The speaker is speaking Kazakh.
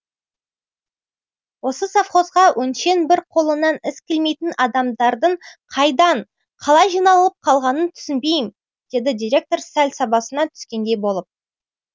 осы совхозға өңшең бір қолынан іс келмейтін адамдардың қайдан қалай жиналып қалғанын түсінбеймін деді директор сәл сабасына түскендей болып